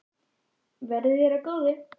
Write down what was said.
Verði þér að góðu.